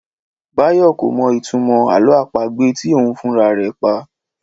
Báyọ̀ kò mọ ìtumọ̀ àlọ́ àpagbè tí òun fúnra rẹ̀ pa